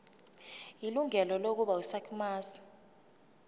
ilungelo lokuba yisakhamuzi